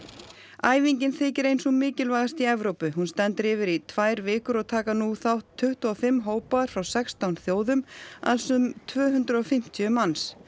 æfingin þykir ein sú mikilvægasta í Evrópu hún stendur yfir í tvær vikur og taka nú þátt tuttugu og fimm hópar frá sextán þjóðum alls um tvö hundruð og fimmtíu manns